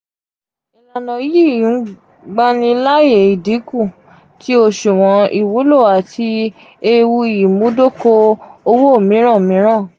ilana yii ngbanilaaye idinku ti oṣuwọn iwulo ati eewu imudoko-owo miran. miran.